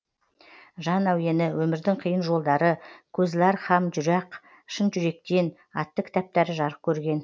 жан әуені өмірдің қиын жолдары көзлар һам журак шын жүректен атты кітаптары жарық көрген